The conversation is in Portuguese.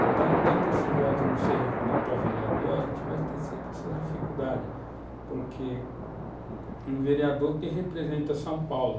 Então, enquanto esse voto não ser regional para vereador, a gente vai ter sempre essas dificuldades, porque é um vereador que representa São Paulo.